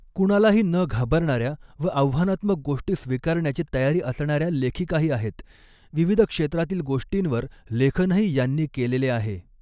कुणालाही न घाबरणाऱ्या व आव्हानात्मक गोष्टी स्वीकारण्याची तयारी असणाऱ्या लेखिकाही आहेत विविध क्षेत्रातील गोष्टींवर लेखनही यांनी केलेले आहे.